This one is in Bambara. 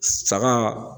Saga